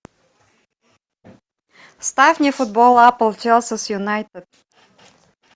ставь мне футбол апл челси с юнайтед